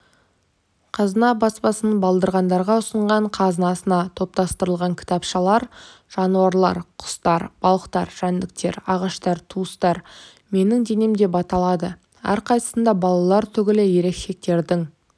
қазына баспасының балдырғандарға ұсынған қазынасына топтастырылған кітапшалар жануарлар құстар балықтар жәндіктер ағаштар туыстар менің денем деп аталады әрқайсысында балалар түгілі ересектердің